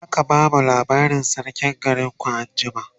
zaka bamu labarin sarkin garinku anjima?